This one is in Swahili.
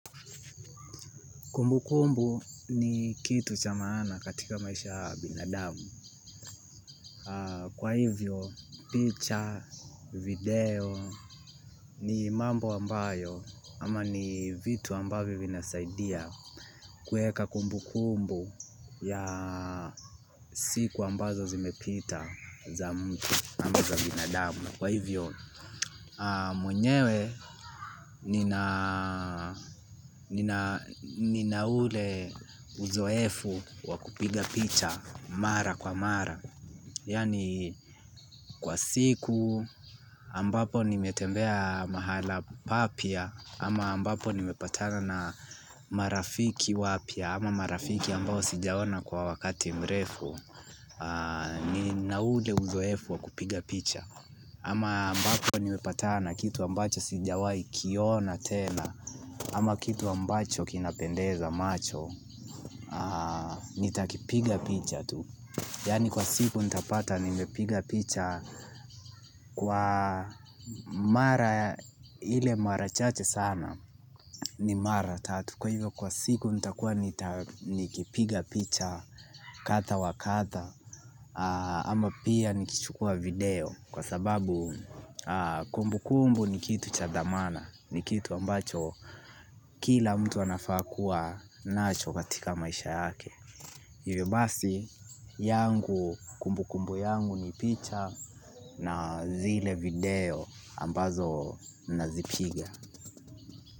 Kumbu kumbu ni kitu cha maana katika maisha ya binadamu. Kwa hivyo, picha, video, ni mambo ambayo ama ni vitu ambavyo vinasaidia kuweka kumbu kumbu ya siku ambazo zimepita za mtu ama za binadamu. Mwenyewe nina ule uzoefu wa kupiga picha mara kwa mara yaani kwa siku ambapo nimetembea mahala papya, ama ambapo nimepatana na marafiki wapya, ama marafiki ambao sijaona kwa wakati mrefu. Nina ule uzoefu wakupiga picha ama ambako nimepatana na kitu ambacho sijawahi kiona tena ama kitu ambacho kinapendeza macho nitakipiga picha tu. Yaani kwa siku nitapata nimepiga picha kwa mara ile mara chache sana ni mara tatu kwa hivyo kwa siku nitakua nikipiga picha mara kadha wa kadha ama pia nikichukua video, kwa sababu kumbu kumbu ni kitu cha dhamana. Ni kitu ambacho kila mtu anafaa kuwa nacho katika maisha yake. Hivyo basi yangu kumbu kumbu yangu ni picha na zile video ambazo nazipiga.